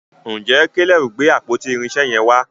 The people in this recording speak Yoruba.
ìje Caleb gbé àpótí irinṣẹ yen wà?